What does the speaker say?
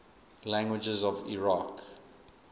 languages of iraq